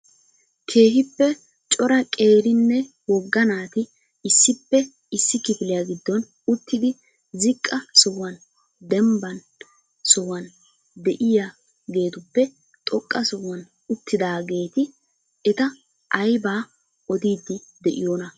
keehippe cora qeerinne wogga naati issippe issi kifiliya giddon uttidi ziqa sohuwan dembban sohuwa de'iyaagetupe xoqqa sohuwan uttidaageeti eta aybba oddidi de'iyoona?